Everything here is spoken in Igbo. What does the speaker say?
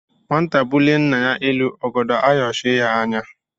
Nwata bulie nna ya elu, ọgọdọ ayọchie ya anya.